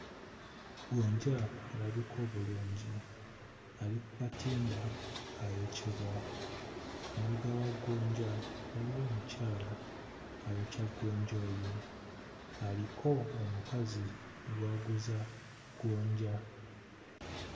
Gonja alabika obulungi ali ku katimba ayokyebwa. Emabega wa gonja waliwo omukyala ayokya gonja oyo aliko omukazi gw'aguza gonja.